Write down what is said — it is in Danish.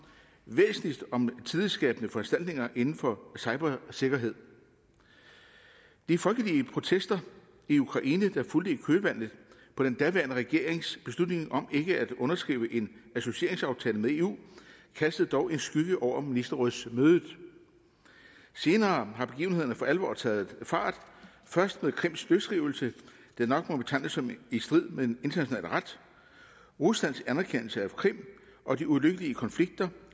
væsentligst om tillidsskabende foranstaltninger inden for cybersikkerhed de folkelige protester i ukraine der fulgte i kølvandet på den daværende regerings beslutning om ikke at underskrive en associeringsaftale med eu kastede dog en skygge over ministerrådsmødet senere har begivenhederne for alvor taget fart først med krims løsrivelse der nok må betegnes som i strid med international ret ruslands anerkendelse af krim og de ulykkelige konflikter